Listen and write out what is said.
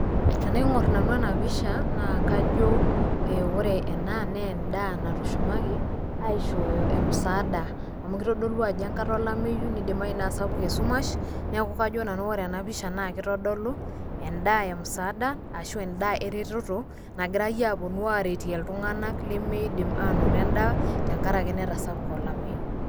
Tenaing'or nanu ena pisha naa kajo ore ena nee endaa natushumaki aishooyo msaada, amu kitodolu ajo enkata olameyu nidimayu naa sapuk esumash. Neeku kajo nanu kore ena pisha naake itodolu endaa emsaada ashu endaa eretoto nagirai aapuno aretie iltung'anak lemiidim anoto endaa tenkaraki netasapuka olameyu.